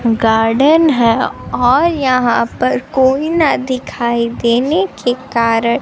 garden है और यहां पर कोई न दिखाई देने के कारण--